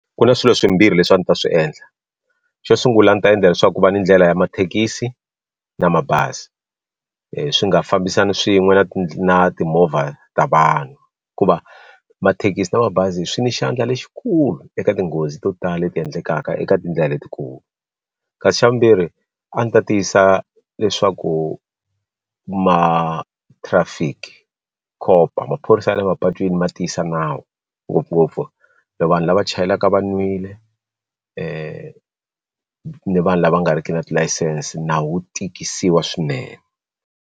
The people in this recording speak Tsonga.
Ku na swilo swimbirhi leswi a ni ta swi endla xo sungula ndzi ta endla leswaku ku va ni ndlela ya mathekisi na mabazi swi nga fambisani swin'we na timovha ta vanhu hikuva mathekisi na mabazi swi ni xandla lexikulu eka tinghozi to tala leti endlekaka eka tindlela letikulu kasi xa vumbirhi a ni ta tiyisisa leswaku ma trafic cop-o maphorisa ya le mapatwini ma tiyisa nawu ngopfungopfu na vanhu lava chayelaka va nwile ni vanhu lava nga riki na tilayisense nawu wu tikisiwa swinene.